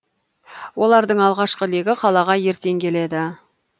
олардың алғашқы легі қалаға ертең келеді